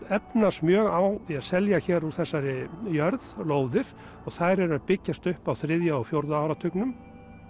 efnast mjög á því að selja hér úr þessari jörð lóðir og þær eru að byggjast upp á þriðja og fjórða áratugnum